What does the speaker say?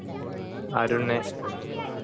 Arun